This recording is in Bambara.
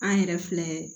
An yɛrɛ filɛ